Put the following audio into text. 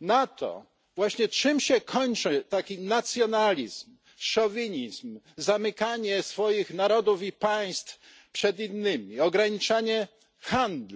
na to właśnie, czym się kończy taki nacjonalizm, szowinizm, zamykanie swoich narodów i państw przed innymi, ograniczanie handlu.